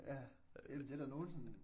Ja det er der nogen sådan